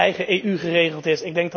eigen EU geregeld is.